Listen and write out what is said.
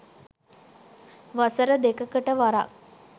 වසර දෙකකට වරක්